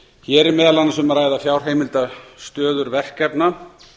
hér er meðal annars um að ræða fjárheimildastöður verkefna